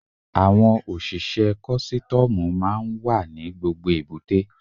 Àwọn òṣìṣẹ́ kọ́sítọ́mù máa ń wà ní gbogbo èbúté.